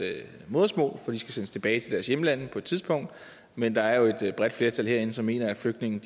modersmål fordi de skal sendes tilbage til deres hjemlande på et tidspunkt men der er jo et bredt flertal herinde der mener at flygtninge